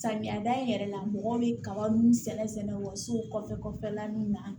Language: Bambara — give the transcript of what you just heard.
Samiya da yɛrɛ la mɔgɔ bɛ kaba ninnu sɛnɛ sɛnɛ o ka so kɔfɛ kɔfɛ la nun na